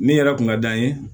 Min yɛrɛ kun ka d'an ye